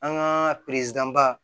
An ka baa